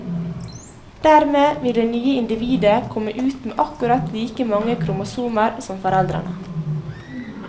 Dermed vil det nye individet komme ut med akkurat like mange kromosomer som foreldrene.